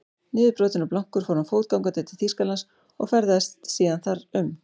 Niðurbrotinn og blankur fór hann fótgangandi til Þýskalands og ferðaðist síðan þar um.